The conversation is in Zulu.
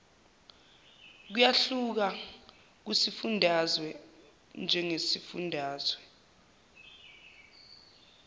kuyahluka kusifundazwe ngesifundazwe